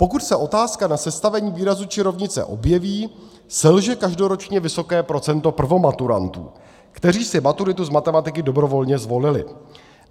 Pokud se otázka na sestavení výrazu či rovnice objeví, selže každoročně vysoké procento prvomaturantů, kteří si maturitu z matematiky dobrovolně zvolili.